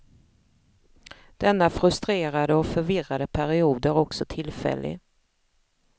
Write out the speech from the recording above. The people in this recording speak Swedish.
Denna frustrerade och förvirrade period är också tillfällig.